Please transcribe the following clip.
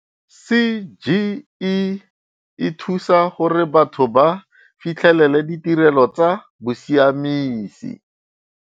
CGE e thusa gore batho ba fitlhelele ditirelo tsa bosiamisi.